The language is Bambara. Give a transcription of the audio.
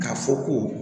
K'a fɔ ko